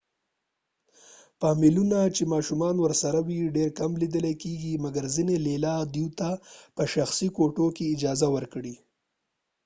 فامیلونه چې ماشومان ورسره وي ډیر کم لیدل کېږی، مګر ځینی لیلیې دوي ته په شخصی کوټو کې اجازه ورکوي